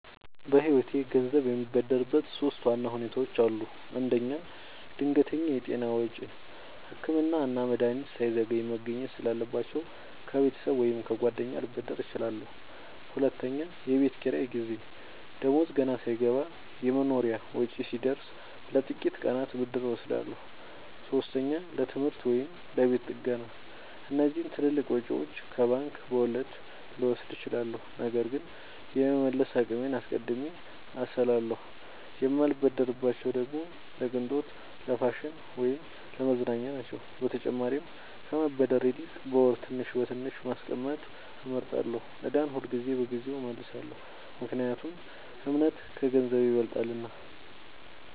በህይወቴ ገንዘብ የምበደርበት ሶስት ዋና ሁኔታዎች አሉ። አንደኛ፣ ድንገተኛ የጤና ወጪ – ህክምና እና መድሀኒት ሳይዘገይ መገኘት ስላለባቸው፣ ከቤተሰብ ወይም ከጓደኛ ልበደር እችላለሁ። ሁለተኛ፣ የቤት ኪራይ ጊዜ – ደሞዝ ገና ሳይገባ የመኖሪያ ወጪ ሲደርስ፣ ለጥቂት ቀናት ብድር እወስዳለሁ። ሶስተኛ፣ ለትምህርት ወይም ለቤት ጥገና – እነዚህን ትልልቅ ወጪዎች ከባንክ በወለድ ልወስድ እችላለሁ፣ ነገር ግን የመመለስ አቅሜን አስቀድሜ አስላለሁ። የማልበደርባቸው ደግሞ ለቅንጦት፣ ለፋሽን ወይም ለመዝናኛ ናቸው። በተጨማሪም ከመበደር ይልቅ በወር ትንሽ በትንሽ ማስቀመጥ እመርጣለሁ። ዕዳን ሁልጊዜ በጊዜው እመልሳለሁ – ምክንያቱም እምነት ከገንዘብ ይበልጣልና።